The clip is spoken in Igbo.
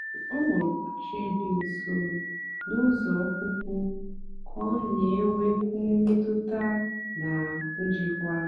ọ họ̀ọ̀rọ́ óchè dị́ nsó na ụ́zọ́ ọ́pụ̀pụ́ kà ọ na-ènwékwu mmètụ́tà na njìkwàla.